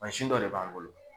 Mansin dɔ de b'an bolo.